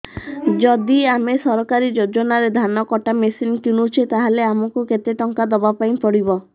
ଯଦି ଆମେ ସରକାରୀ ଯୋଜନାରେ ଧାନ କଟା ମେସିନ୍ କିଣୁଛେ ତାହାଲେ ଆମକୁ କେତେ ଟଙ୍କା ଦବାପାଇଁ ପଡିବ